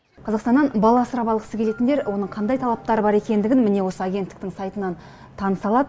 қазақстаннан бала асырап алғысы келетіндер оның қандай талаптары бар екендігін міне осы агенттіктің сайтынан таныса алады